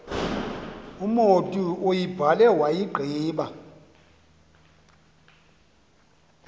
umotu uyibhale wayigqiba